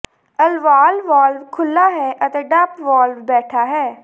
ਅਲਵਾਲ valve ਖੁੱਲ੍ਹਾ ਹੈ ਅਤੇ ਡੰਪ ਵਾਲਵ ਬੈਠਾ ਹੈ